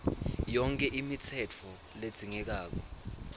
yonkhe imitsetfo ledzingekako